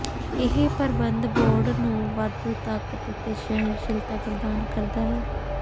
ਇਹ ਪ੍ਰਬੰਧ ਬੋਰਡ ਨੂੰ ਵਾਧੂ ਤਾਕਤ ਅਤੇ ਸਹਿਣਸ਼ੀਲਤਾ ਪ੍ਰਦਾਨ ਕਰਦਾ ਹੈ